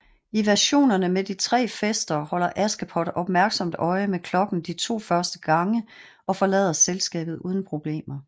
I versionerne med tre fester holder Askepot opmærksomt øje med klokken de to første gange og forlader selskabet uden problemer